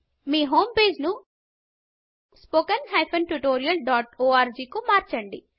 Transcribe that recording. మీ home పేజ్ను spoken tutorialఆర్గ్ కు మార్చండి